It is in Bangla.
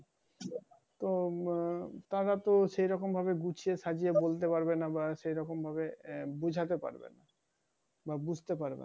তো আহ তারা তো সে রকম ভাবে গুছিয়ে সাজিয়ে বলতে পারবে না বা সেরকম ভাবে আহ বুঝাতে পারবে না। বা ভুঝতে পারবে না।